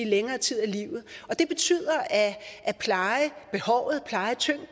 længere tid af livet det betyder at plejebehovet plejetyngden